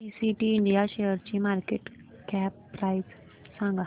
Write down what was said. PTC India शेअरची market cap price सांगा